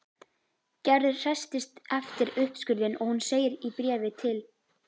Gerður hresstist eftir uppskurðinn og hún segir í bréfi til